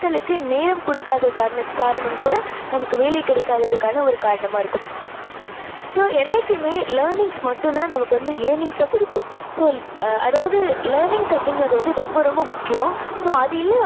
உங்களுக்கு name குடுக்காத காரணத்~காரணம் கூட நமக்கு வேலை கிடைக்காதத்துக்கான ஒரு காரணமா இருக்கும். so என்னைக்குமே learnings மட்டும் தான் நமக்கு earnings அ குடுக்கும். so அதாவது learnings அப்படிங்குறது ரொம்ப ரொம்ப முக்கியம். so அது இல்லை